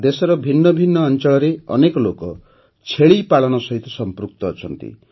ଦେଶର ଭିନ୍ନ ଭିନ୍ନ ଅଞ୍ଚଳରେ ଅନେକ ଲୋକ ଛେଳିପାଳନ ସହିତ ସଂପୃକ୍ତ ଅଛନ୍ତି